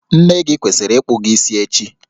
Nne gị kwesịrị ịkpụ gị isi echi